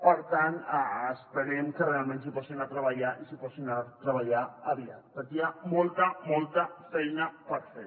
per tant esperem que realment s’hi posin a treballar i s’hi posin a treballar aviat perquè hi ha molta molta feina per fer